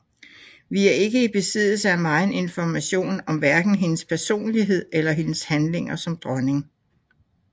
Vi er ikke i besiddelse af megen information om hverken hendes personlighed eller hendes handlinger som dronning